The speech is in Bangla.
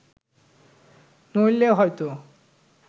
নইলে হয়ত